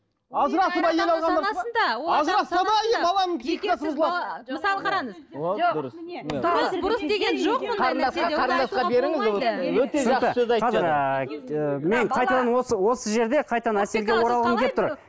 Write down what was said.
мысалы қараңыз мен қайтадан осы осы жерде қайтадан әселге оралғым келіп тұр